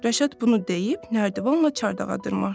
Rəşad bunu deyib nərdivanla çardağa dırmaşdı.